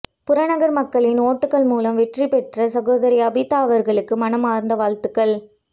புறநகர் மக்களின் ஓட்டுக்கள் மூலம் வெற்றிபெற்ற சகோதரி ஆபிதா அவர்களுக்கு மனமார்ந்த வாழ்த்துக்கள்